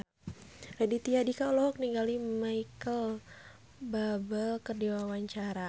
Raditya Dika olohok ningali Micheal Bubble keur diwawancara